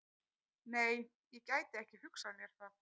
Nei, ég gæti ekki hugsað mér það.